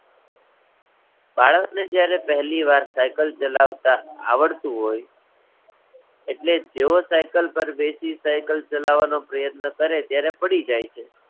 બાળકને જ્યારે પહેલીવાર Cycle ચલાવતા આવડતું હોય, એટલે જેવો Cycle પર બેસી Cycle ચલાવવાનો પ્રયત્ન કરે ત્યારે પડી જાય છે.